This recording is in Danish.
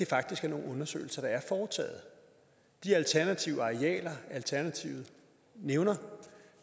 faktisk er nogle undersøgelser der de alternative arealer alternativet nævner